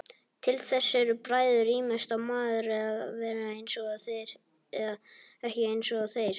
Til þess eru bræður, ýmist á maður að vera einsog þeir eða ekki einsog þeir.